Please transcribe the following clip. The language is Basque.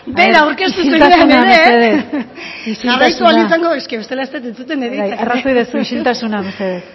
bera aurkeztu zenean ere a ver isiltasuna mesedez isiltasuna jarraitu ahal izango dut eske bestela ez dut entzuten bai arrazoia duzu isiltasuna mesedez